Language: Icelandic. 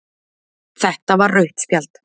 Þetta var rautt spjald.